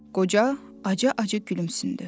Qoca acı-acı gülümsündü.